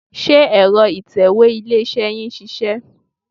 Ṣé ẹ̀rọ ìtẹ̀wé ilé-iṣẹ́ yín ń ṣiṣẹ́?